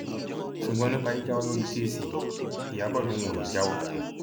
ṣùgbọn nípa jíjáwọ lórí kẹẹsì yìí ìyàbò lòun ò ní í jáwọ o